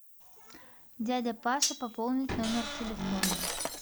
дядя паша пополнить номер телефона